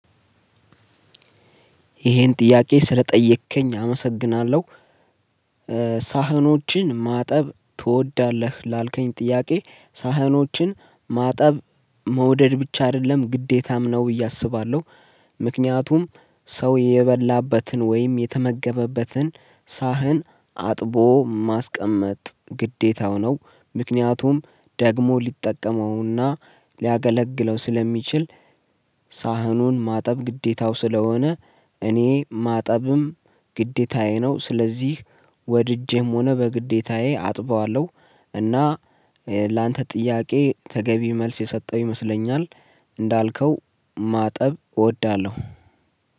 ይሄን ጥያቄ ስለጠየከኝ አመሰግናለሁ። ሳህኖችን ማጠብ ትወዳለህ ላልከኝ ጥያቄ? ሳህኖችን ማጠብ መውደድ ብቻ አይደለም ግዴታም ነው ብዬ አስባለሁ። ምክንያቱም ሰው የበላበትን ወይም የተመገበበትን ሳህን አጥቦ ማስቀመጥ ግዴታው ነው። ምክንያቱም ደግሞ ሊጠቀመውና ሊያገለግለው ስለሚችል። ሳህኑን ማጠብ ግዴታው ስለሆነ እኔ ማጠብም ግዴታዬ ነው። ስለዚህ ወድጄም ሆነ በግዴታዬ አጥበዋለሁ። እና ላንተ ጥያቄ ተገቢ መልስ የሰጠሁ ይመስለኛል። እንዳልከው ማጠብ እወዳለሁ።